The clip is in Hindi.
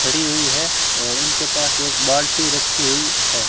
खड़ी हुई है और उनके पास एक बाल्टी रखी हुई है।